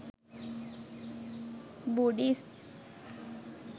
buddhist